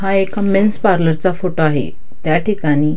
हा एका men's parlour चा फोटो आहे त्याठिकाणी--